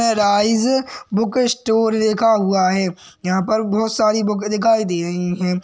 Sunrise book store लिखा हुआ है यहाँ पर बहोत सारी बुके दिखाई दे रही हैं।